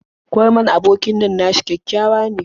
Kurman abokin nan nashi kyakkyawa ne.